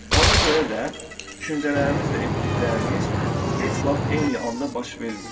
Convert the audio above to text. Ona görə də düşüncələrimiz də etdiklərimiz heç vaxt eyni anda baş vermir.